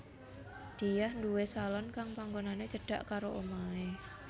Diah nduwé salon kang panggonané cedhak karo omahé